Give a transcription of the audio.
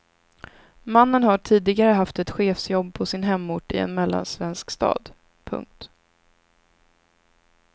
Mannen har tidigare haft ett chefsjobb på sin hemort i en mellansvensk stad. punkt